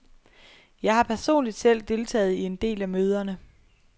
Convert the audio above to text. Jeg har personligt selv deltaget i en del af møderne.